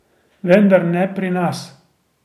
Vendar ne pri nas.